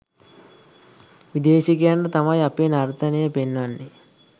විදේශිකයන්ට තමයි අපේ නර්තනය පෙන්වන්නෙ.